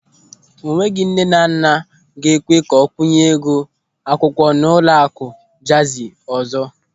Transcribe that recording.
O nweghị nnenanna a ga-ekwe ka ọ kwunye ego akwụkwọ n'ụlọakụ Jazi ọzọ.